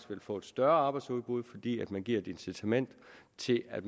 vil få et større arbejdsudbud fordi man giver et incitament til at